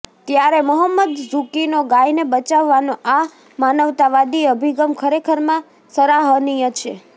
ત્યારે મહોમ્મદ ઝૂકીનો ગાયને બચાવાનો આ માનવતાવાદી અભિગમ ખરેખરમાં સરાહનીય છે